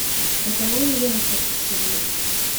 роковые яйца включи мне